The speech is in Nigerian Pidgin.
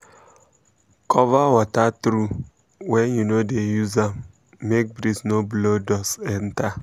cover water trough when you no dey use am um make breeze no blow dust enter.